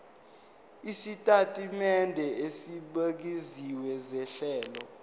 isitatimende esibukeziwe sohlelo